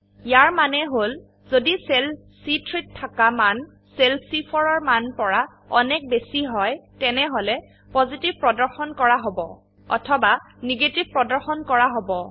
ইয়াৰ মানে হল যদি সেল চি3 -ত থাকা মান সেল চি4 -এৰমানৰ পৰা অনেক বেশী হয় তেনেহলে পজিটিভ প্ৰদৰ্শন কৰা হব অথবা নেগেটিভ প্ৰদৰ্শন কৰা হব